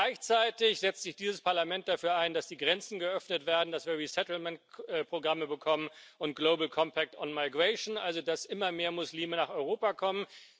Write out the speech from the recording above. Gleichzeitig setzt sich dieses Parlament dafür ein, dass die Grenzen geöffnet werden, dass wir Resettlement Programme bekommen und also dass immer mehr Muslime nach Europa kommen.